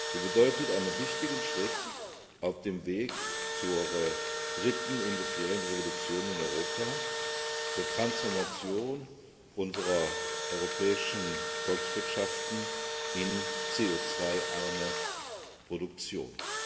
Sie bedeutet einen wichtigen Schritt auf dem Weg zur dritten industriellen Revolution in Europa, zur Transformation unserer europäischen Volkswirtschaften in Volkswirtschaften mit CO 2 arme Produktionen.